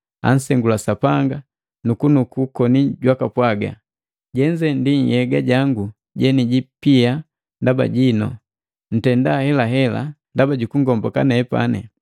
ansengula Sapanga, nukunuku koni jwaka pwaga, “Jenze ndi nhyega jangu jenijipia ndaba jinu, ntenda helahela ndaba jukungomboka nepani.”